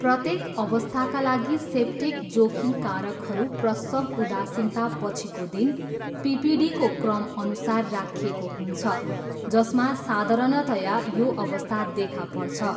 प्रत्येक अवस्थाका लागि सेप्टिक जोखिम कारकहरू प्रसव उदासीनतापछिको दिन, पिपिडीको क्रमअनुसार राखिएको हुन्छ, जसमा साधारणतया यो अवस्था देखा पर्छ।